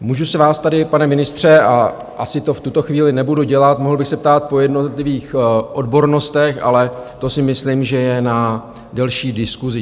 Můžu se vás tady, pane ministře - a asi to v tuto chvíli nebudu dělat - mohl bych se ptát po jednotlivých odbornostech, ale to si myslím, že je na delší diskusi.